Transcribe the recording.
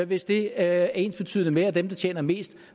hvis det er ensbetydende med at dem der tjener mest